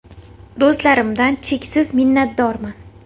Do‘stlarimdan cheksiz minnatdorman.